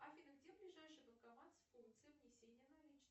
афина где ближайший банкомат с функцией внесения наличных